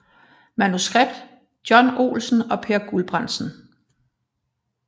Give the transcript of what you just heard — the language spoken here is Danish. Manuskript John Olsen og Peer Guldbrandsen